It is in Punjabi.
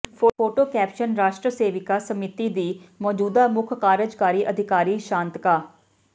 ਫੋਟੋ ਕੈਪਸ਼ਨ ਰਾਸ਼ਟਰ ਸੇਵਿਕਾ ਸਮਿਤੀ ਦੀ ਮੌਜੂਦਾ ਮੁੱਖ ਕਾਰਜਕਾਰੀ ਅਧਿਕਾਰੀ ਸ਼ਾਂਤਕਾ